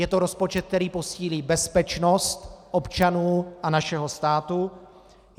Je to rozpočet, který posílí bezpečnost občanů a našeho státu.